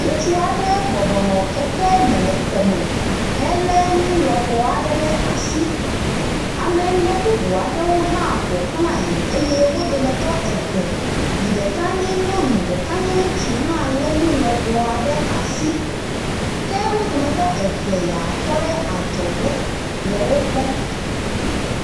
Ŋutsu aɖe bɔbɔ nɔ keke me le xɔme helé nu lɔbɔ aɖe ɖe asi. Ame ene bubu aɖewo hã ƒo xlae eye wo dometɔ eve yi ɖeka nye nyɔnu, ɖeka nye ŋutsu hã lé nu lɔbɔ aɖe asi ke wo dometɔ eve yea tɔ ɖe adzɔge le wokpɔm.